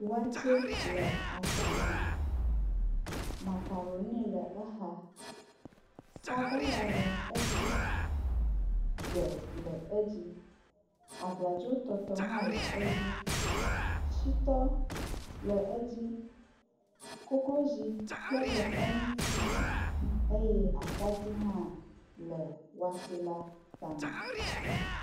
Watsɛ le agba me. Makaɖoni le exa, sabala le edzi, gbe le edzi, abladzotɔtɔ hã le edi, shitɔ le edzi, koklozi kpe ɖe eŋuti eye atadi hã le watsɛ la tame.